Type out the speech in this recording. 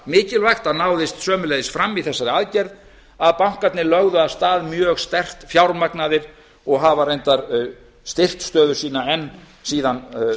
mikilvægt að náðist sömuleiðis fram í þessari aðgerð að bankarnir lögðu af stað mjög sterkt fjármagnaðir og hafa reyndar styrkt stöðu sína enn síðan